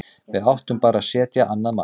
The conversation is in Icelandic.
Við áttum bara að setja annað mark.